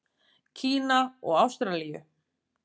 Kína og Ástralíu.